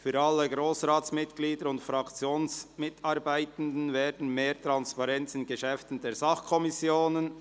«Für alle Grossratsmitglieder und Fraktionsmitarbeitenden wieder mehr Transparenz in Geschäften der Sachkommissionen».